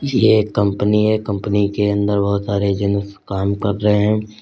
यह एक कंपनी है कंपनी के अंदर बहुत सारे जेंस काम कर रहे हैं।